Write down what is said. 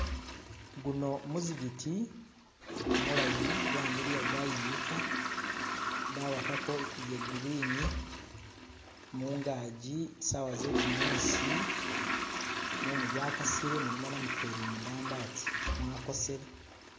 Guuno muzikiti mulaayi gwamiliiya gwayimika, bawakako bye green mungaji saawa ze'gumuusi mumu gwa kasiile mulimo namufeli mudambi ati , mwakosele.